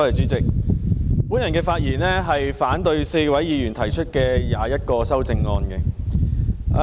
主席，我發言反對4位議員提出的共21項修正案。